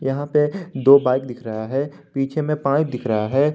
यहां पे दो बाइक दिख रहा है पीछे में पाइप दिख रहा है।